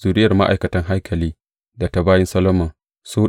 Zuriyar ma’aikatan haikali da ta bayin Solomon su